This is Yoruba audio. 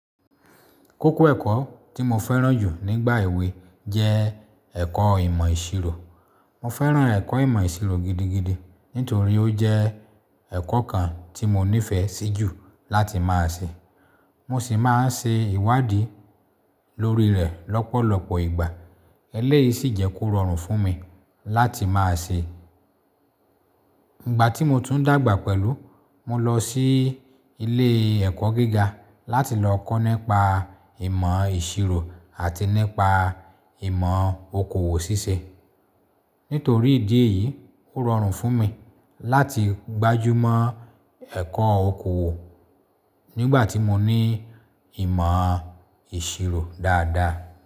Kókó ẹ̀kọ́ tí mo fẹ́ràn jù nígbà èwe jẹ́ ẹ̀kọ́ ìmọ̀ ìṣirò. Mo fẹ́ràn ẹ̀kọ́ ìmọ̀ ìṣirò gidigidi nítorí ó jẹ́ ẹ̀kọ́ kan tí mo nífẹ̀ẹ́ sí jù láti máa ṣe. Mo sì máa ń ṣe ìwádìí lórí rẹ̀ lọ́pọ̀lọpọ̀ ìgbà. Eléyìí sì jẹ́ kó rọrùn fún mi láti máa ṣe. Ìgbà tí mo tún dàgbà pẹ̀lú, mo lọ sí ilé ẹ̀kọ́ gíga láti lọ kọ́ nípa ìmọ̀ ìṣirò àti nípa ìmọ̀ okòwò ṣíṣe. Nítorí ìdí èyí, ó rọrùn fún mi láti gbájú mọ́ ẹ̀kọ́ okòwò nígbà tí mo ní ìmọ̀ ìṣirò dáadáa.